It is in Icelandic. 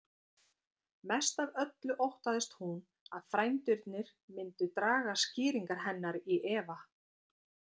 Mest af öllu óttaðist hún að frændurnir myndu draga skýringar hennar í efa.